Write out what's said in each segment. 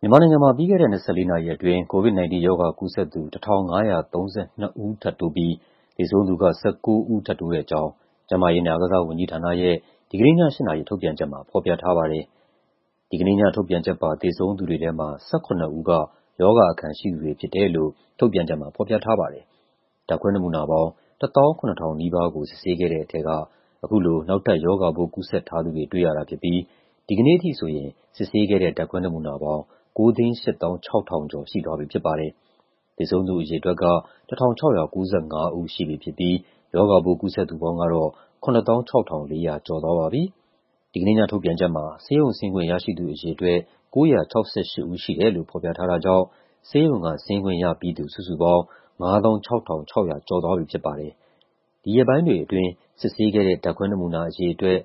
မြန်မာနိုင်ငံမှာ ပြီးခဲ့တဲ့ ၂၄ နာရီအတွင်း COVID-19 ရောဂါကူးစက်သူ ၁,၅၃၂ ဦး ထပ်တိုးပြီး သေဆုံးသူက ၁၉ ဦး ထပ်တိုးတဲ့အကြောင်း ကျန်းမာရေးနဲ့အားကစားဝန်ကြီးဌာနရဲ့ ဒီကနေ့ည ၈ နာရီ ထုတ်ပြန်ချက်မှာ ဖော်ပြထားပါတယ်။ ဒီကနေ့ညထုတ်ပြန်ချက်ပါ သေဆုံးသူတွေထဲမှာ ၁၇ ဦးက ရောဂါအခံရှိသူတွေဖြစ်တယ်လို့ ထုတ်ပြန်ချက်မှာ ဖော်ပြထားပါတယ်။ ဓာတ်ခွဲနမူနာပေါင်း ၁၆,၉၉၉ ခုကို စစ်ဆေးခဲ့တဲ့ထဲက အခုလို နောက်ထပ် ရောဂါပိုးကူးစက်ထားသူတွေ တွေ့ရတာဖြစ်ပြီး ဒီကနေ့အထိဆိုရင် စစ်ဆေးခဲ့တဲ့ ဓာတ်ခွဲနမူနာပေါင်း ၉၈၆,၂၆၇ ခု ရှိသွားပြီဖြစ်ပါတယ်။ သေဆုံးသူအရေအတွက်က ၁,၆၉၅ ဦး ရှိပြီဖြစ်ပြီး ရောဂါပိုး ကူးစက်သူပေါင်းကတော့ ၇၆,၄၁၄ ဦး ရှိသွားပါပြီ။ ဒီကနေ့ညထုတ်ပြန်ချက်မှာ ဆေးရုံဆင်းခွင့်ရရှိသူအရေအတွက် ၉၆၈ ဦးရှိတယ်လို့ ဖော်ပြထားတာကြောင့် ဆေးရုံကဆင်းခွင့်ရပြီးသူ စုစုပေါင်း ၅၆,၆၀၁ ဦး ရှိသွားပြီဖြစ်ပါတယ်။ ဒီရက်ပိုင်းတွေအတွင်း စစ်ဆေးတဲ့ ဓာတ်ခွဲနမူနာအရေအတွက်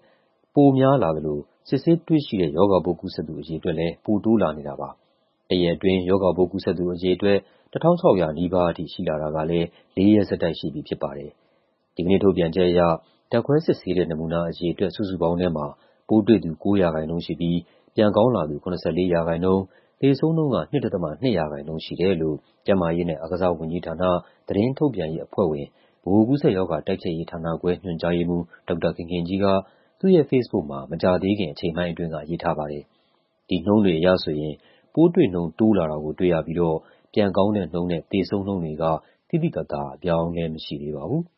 ပိုများလာသလို စစ်ဆေးတွေ့ရှိတဲ့ ရောဂါပိုးကူးစက်သူ အရေအတွက်လည်း ပိုတိုးလာနေပါတယ်။ တစ်ရက်အတွင်း ရောဂါပိုးကူးစက်သူအရေအတွက် ၁,၆၀၀ နီးပါးထိ ရှိလာတာကလည်း ၄ ရက်ဆက်တိုက် ရှိပြီဖြစ်ပါတယ်။ ဒီကနေ့ထုတ်ပြန်ချက်အရ ဓာတ်ခွဲစစ်ဆေးတဲ့ နမူနာအရေအတွက် စုစုပေါင်းထဲမှာ ပိုးတွေ့သူ ၉% ရှိပြီး ပြန်ကောင်းလာသူ ၇၄% ၊ သေဆုံးနှုန်းက ၂.၂% ရှိတယ်လို့ ကျန်းမာရေးနဲ့အားကစားဝန်ကြီးဌာန၊ သတင်းထုတ်ပြန်ရေးအဖွဲ့ဝင်၊ ဗဟိုကူးစက်ရောဂါ တိုက်ဖျက်ရေးဌာနခွဲ ညွှန်ကြားရေးမှူး ဒေါက်တာခင်ခင်ကြီးက သူ့ရဲ့ဖေ့စ်ဘုတ်မှာ မကြာသေးခင် အချိန်ပိုင်းအတွင်းက ရေးထားပါတယ်။ ဒီနှုန်းတွေအရဆိုရင် ပိုးတွေ့နှုန်း တိုးလာတာကို တွေ့ရပြီးတော့ ပြန်ကောင်းတဲ့နှုန်းနဲ့ သေဆုံးနှုန်းတွေက သိသိသာသာ အပြောင်းအလဲမရှိသေးပါဘူး။